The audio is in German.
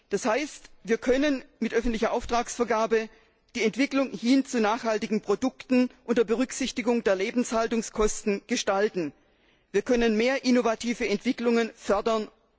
Das heißt, wir können mit öffentlicher Auftragsvergabe die Entwicklung hin zu nachhaltigen Produkten unter Berücksichtigung der Lebenshaltungskosten gestalten, wir können mehr innovative Entwicklungen fördern.